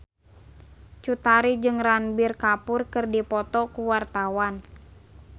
Cut Tari jeung Ranbir Kapoor keur dipoto ku wartawan